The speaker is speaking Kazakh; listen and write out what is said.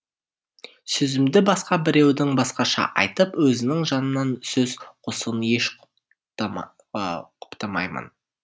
сөзімді басқа біреудің басқаша айтып өзінің жанынан сөз қосуын еш құптамаймын